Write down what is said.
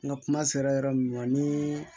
N ka kuma sera yɔrɔ min ma ni